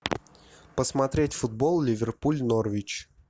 посмотреть футбол ливерпуль норвич